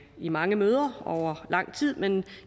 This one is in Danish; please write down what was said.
i mange møder og over lang tid men